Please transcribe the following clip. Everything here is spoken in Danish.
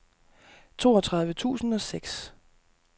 toogtredive tusind og seks